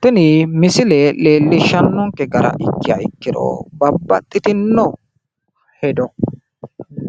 Tini misile leellishshannonke gara ikkiha iikkiro babbaxxitino hedo